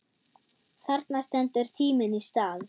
Þarna stendur tíminn í stað.